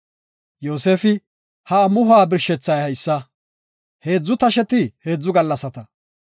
Yoosefi, “Ha amuhuwa birshethay haysa; heedzu tasheti heedzu gallasata.